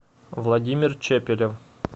владимир чепелев